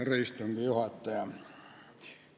Härra istungi juhataja!